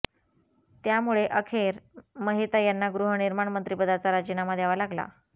त्यामुळे अखेर महेता यांना गृहनिर्माण मंत्रिपदाचा राजीनामा द्यावा लागला